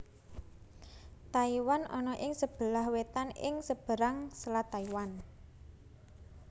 Taiwan ana ing sebelah wetan ing seberang Selat Taiwan